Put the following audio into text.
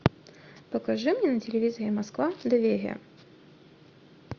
покажи мне на телевизоре москва доверие